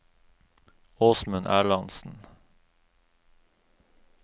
Åsmund Erlandsen